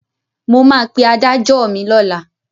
Mo máa pe adájọ́ mi lọ́la.